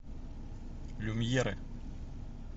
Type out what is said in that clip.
люмьеры